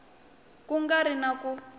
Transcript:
ku nga ri na ku